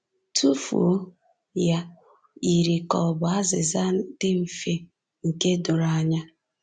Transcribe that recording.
Tụfuo ya” yiri ka ọ bụ azịza dị mfe, nke doro anya.